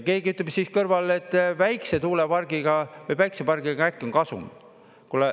Keegi ütleb siis kõrval, et väikese tuulepargiga või päikesepargiga äkki on kasum.